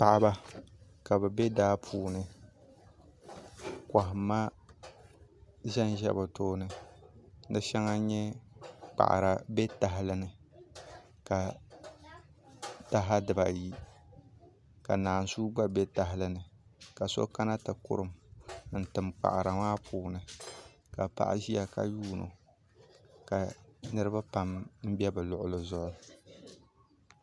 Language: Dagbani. paɣiba ka bɛ be daa puuni kɔhimma zanza bɛ tooni di shɛŋa n-nyɛ kpaɣira be tahili ni ka taha dibaayi ka naanzuwa gba be tahili ni ka so kana ti kurum n-tim kpaɣira maa puuni ka paɣa ʒiya ka yuuni o ka niriba pam m-be bɛ luɣili zuɣu